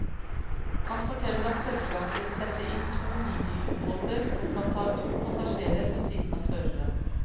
Han forteller at selskapet vil sette inn to miniubåter som kan ta to passasjerer ved siden av føreren.